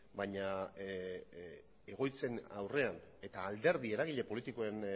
baina egoitzen aurrean eta alderdi eragile politikoen